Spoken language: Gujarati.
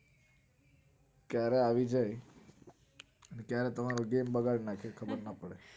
ક્યારે આવી જાય ક્યારે તમારો દિન બગાડ નાખે ખબર ના પડે